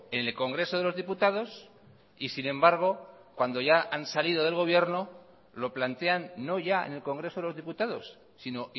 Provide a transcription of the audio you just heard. en el congreso de los diputados y sin embargo cuando ya han salido del gobierno lo plantean no ya en el congreso de los diputados sino